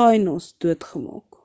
taínos doodgemaak